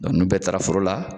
Dɔnku ni bɛ taara foro la